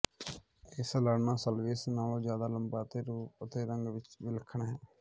ਇਹ ਸਾਲਾਨਾ ਸਲਵੀਅਸ ਨਾਲੋਂ ਜ਼ਿਆਦਾ ਲੰਬਾ ਅਤੇ ਰੂਪ ਅਤੇ ਰੰਗ ਵਿਚ ਵਿਲੱਖਣ ਹੈ